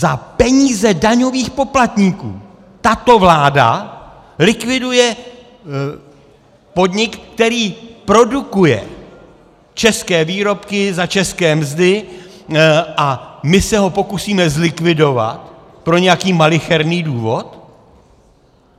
Za peníze daňových poplatníků tato vláda likviduje podnik, který produkuje české výrobky za české mzdy, a my se ho pokusíme zlikvidovat pro nějaký malicherný důvod?